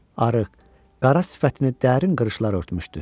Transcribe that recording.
Arıq, qara sifətini dərin qırışlar örtmüşdü.